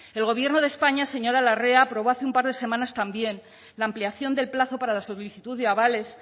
el gobierno de españa señora larrea aprobó hace un par de semanas también la ampliación del plazo para la solicitud de avales